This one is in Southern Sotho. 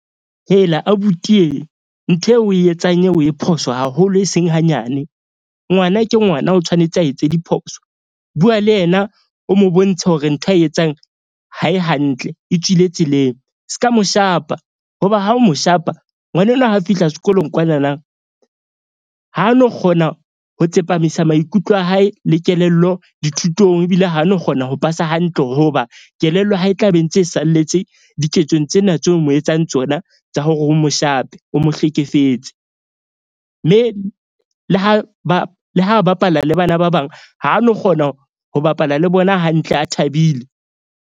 Hela abuti , ntho eo o e etsang eo o e phoso haholo, e seng hanyane. Ngwana ke ngwana o tshwanetse a etse diphoso. Bua le yena o mo bontshe hore ntho ae etsang ha e hantle. E tswile tseleng ska mo shapa hoba ha o mo shapa ngwana enwa ha a fihla sekolong kwanana, ha no kgona ho tsepamisa maikutlo a hae le kelello dithutong. Ebile ha no kgona ho pasa hantle hoba kelello ya hae e tla be ntse salletse diketsong tsena tseo mo etsang tsona. Tsa hore o mo shape, o mo hlekefetse. Mme le ha le ha bapala le bana ba bang, ha no kgona ho bapala le bona hantle, a thabile.